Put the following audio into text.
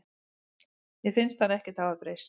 Mér finnst hann ekkert hafa breyst.